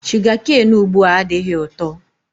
Sugakain ugbua adịghị ụtọ.